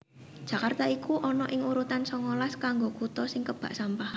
Jakarta iku ono ing urutan songolas kanggo kuto sing kebak sampah